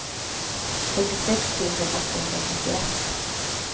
fyrtiosex tusen åttahundrafyrtioett